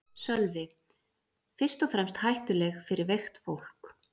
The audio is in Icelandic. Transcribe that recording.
Sölvi: Fyrst og fremst hættuleg fyrir veikt fólk?